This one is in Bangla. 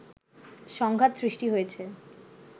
সংঘাত সৃষ্টি হয়েছে